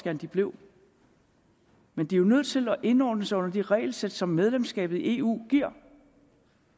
at de blev men de er nødt til at indordne sig under de regelsæt som medlemskabet af eu giver